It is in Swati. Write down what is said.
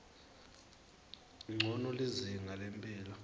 ncono lizinga lemphilo